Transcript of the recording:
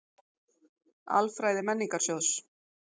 Alfræði Menningarsjóðs.